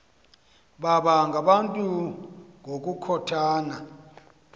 baba ngabantu ngokukhothana